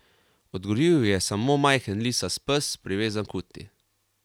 Odgovoril ji je samo majhen lisast pes, privezan k uti.